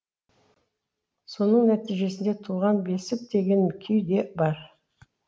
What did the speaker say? соның нәтижесінде туған бесік деген күйі де бар